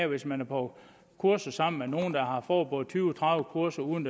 hvis man er på kursus sammen med nogen der har fået både tyve og tredive kurser uden